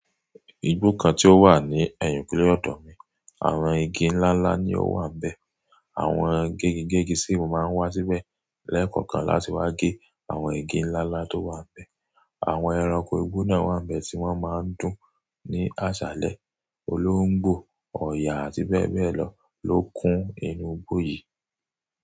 Igbó kan tí ó wà ní ẹ̀yìnkùlé ọ̀dọ̀ mi, àwọn igi ńláńlá ni ó wà bẹ. Àwọn gégigégi síìmù máa ń wá síbẹ̀ lẹ́kọ̀ọ̀kan láti wá gé àwọn igi ńláńlá tó wà bẹ. Àwọn ẹranko igbó náà wà bẹ tí wọ́n máa ń dùn ní àṣálẹ́. Olóńgbò, ọ̀yà àti bẹ́ẹ̀ bẹ́ẹ̀ lọ ló kún inú igbó yìí.